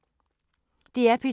DR P2